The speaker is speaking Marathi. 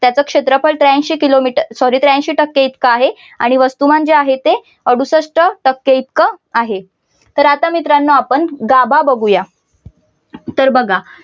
त्याच क्षेत्रफळ ते त्रेऐंशी किलोमीटर sorry त्रेऐंशी टक्के इतक आहे आणि वस्तुमान जे आहे ते अडुसष्ट टक्के इतके आहे. तर आता मित्रांनो आपण गाभा बघूया. तर मग बघा.